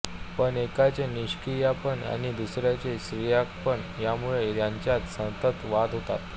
पण एकाचे निष्क्रियपण आणि दुसऱ्याचे सक्रियपण यामुळे त्यांच्यात सतत वाद होतात